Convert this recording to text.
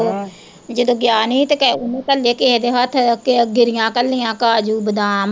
ਜਦੋਂ ਗਿਆ ਨੀ ਸੀ ਤੇ ਕਹਿ ਘੱਲੇ ਕਿਸੇ ਦੇ ਹੱਥ ਕਿ ਗਿਰੀਆਂ ਘੱਲੀਆਂ ਕਾਜੂ ਬਾਦਾਮ।